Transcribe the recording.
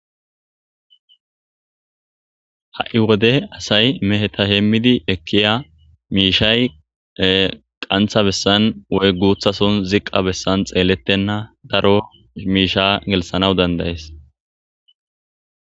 Ha'i wode asay meheta heemmidi ekkiya miishsha qanththa bessan woy guththa sohon ziqqa bessan xeeletenna daro miishsha gelththanaw danda'es.